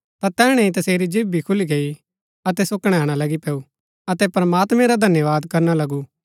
ता तैहणै ही तसेरी जीभ भी खुली गैई अतै सो कणैणा लगी पैऊँ अतै प्रमात्मैं रा धन्यवाद करना लगु